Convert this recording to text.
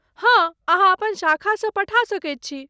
हँ, अहाँ अपन शाखासँ पठा सकैत छी।